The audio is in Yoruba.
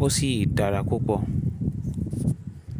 ó sì dára púpọ̀.